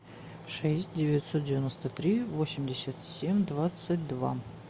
шесть девятьсот девяносто три восемьдесят семь двадцать два